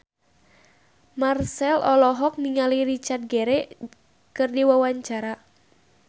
Marchell olohok ningali Richard Gere keur diwawancara